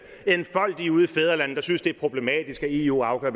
enfoldige ude i fædrelandet der synes det er problematisk at eu afgør